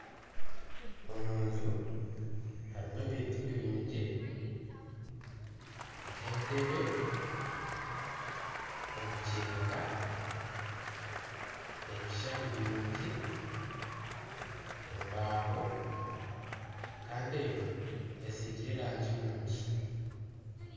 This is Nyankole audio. Omuju harimu ebintu birungi nka enteebe, omukyeka, ebishuushani birungi, embaho kandi enju etsigire erangi nungi.